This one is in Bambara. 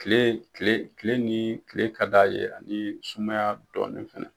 Kile kile kile ni kile ka d'a ye ani sumaya dɔɔni fɛnɛ.